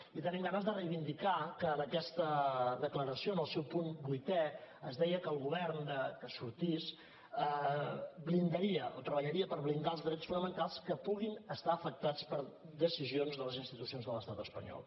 i tenim ganes de reivindicar que en aquesta declaració en el seu punt vuitè es deia que el govern que sortís blindaria o treballaria per blindar els drets fonamentals que puguin estar afectats per decisions de les institucions de l’estat espanyol